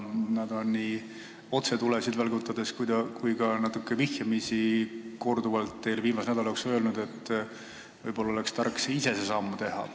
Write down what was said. Nad on nii otse tulesid välgutades kui ka natukene vihjamisi korduvalt teile viimase nädala jooksul öelnud, et võib-olla oleks tark ise otsustav samm teha.